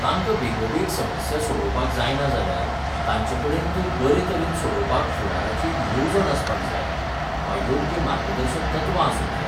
तांकां बेगोबेग समस्या सोडोवपाक जायना जाल्यार, तांचेकडेन त्यो बरेतरेन सोडोवपाक फुडाराची एक येवजण आसपाक जाय वा योग्य मार्गदर्शक तत्वां आसूंक जाय.